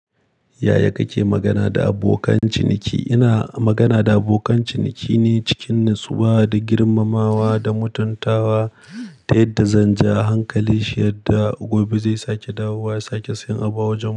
Yaya kake magana da abokan ciniki? Ina magana da abokan ciniki ne cikin natsuwa da girmamawa da mutuntawa, ta yadda zanje a hankalin shi yadda gobe zai sake dawowa sake siyan abu a wajen mu.